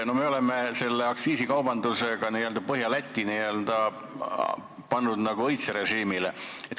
No me oleme selle aktsiisikaubandusega pannud Põhja-Läti nagu õitserežiimile.